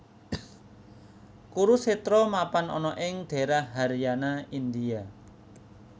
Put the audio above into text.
Kurusetra mapan ana ing daérah Haryana India